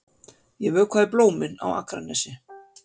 Ég vökvaði blómin á Akranesi.